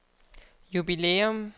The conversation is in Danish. jubilæum